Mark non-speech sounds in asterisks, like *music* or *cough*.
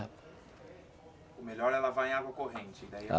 O melhor é lavar em água corrente, daí *unintelligible*